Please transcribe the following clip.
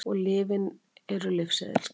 Öll lyfin eru lyfseðilsskyld